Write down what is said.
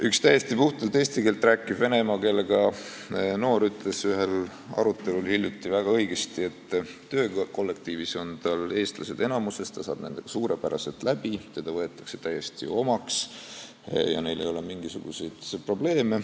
Üks täiesti puhtalt eesti keelt rääkiv vene emakeelega noor ütles ühel arutelul hiljuti väga õigesti, et töökollektiivis on tal eestlased enamuses, ta saab nendega suurepäraselt läbi, ta on täiesti omaks võetud ja neil ei ole mingisuguseid probleeme.